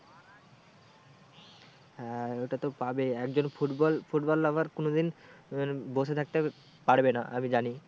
হ্যাঁ ওটা তো পাবে একজন football, football lover কোনোদিন উম বসে থাকতে পারবে না আমি জানি।